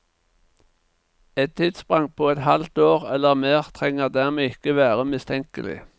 Et tidssprang på et halvt år eller mer trenger dermed ikke være mistenkelig.